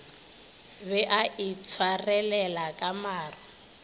be a itshwarelela ka maru